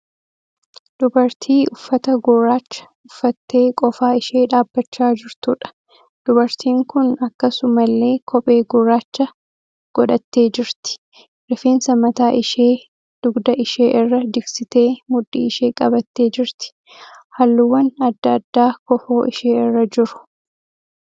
Dubartii uffata gurraacha uffattee qofaa ishee dhaabbachaa jirtuudha. Dubartiin kun akkasumallee kophee gurraacha qodhattee jirti. Rifeensa mataa ishee dugda ishee irra jigsitee mudhii ishee qabattee jirti. Halluuwwan adda addaa kofoo ishee irra jiru.